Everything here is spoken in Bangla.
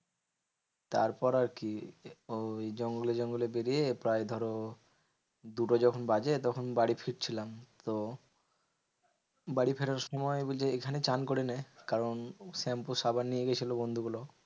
তারপর আর কি? ওই জঙ্গলে জঙ্গলে বেরিয়ে প্রায় ধরো দুটো যখন বাজে তখন বাড়ি ফিরছিলাম। তো বাড়ি ফেরার সময় বুঝলি এইখানে চান করে নেয়, কারণ শ্যাম্পু সাবান নিয়ে গেছিল বুন্ধুগুলো।